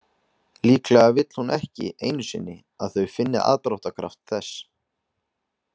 Líklega vill hún ekki einu sinni að þau finni aðdráttarkraft þess.